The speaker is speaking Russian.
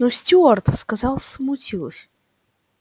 но стюарт сказал смутился